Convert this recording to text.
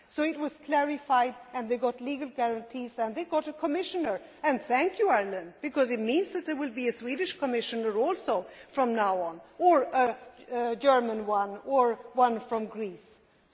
So this was clarified and they got legal guarantees and they got a Commissioner and thank you, Ireland, because it means that there will be a Swedish Commissioner also from now on, also a German one, and one from Greece etc.,